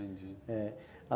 Entendi. É.